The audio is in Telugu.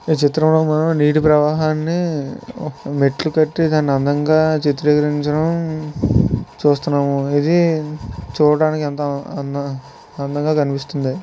ఈ చిత్రం నీటి ప్రవాహాన్ని మెట్లు కట్టే దాని అందంగా చిత్రీకరించిన చూస్తున్నాము. ఇది చూడడానికి ఎంత అందంగా కనిపిస్తుంది.